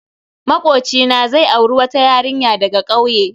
Makocina zai auri wata yarinya daga kauye.